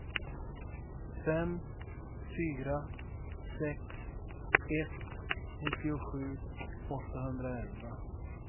fem fyra sex ett nittiosju åttahundraelva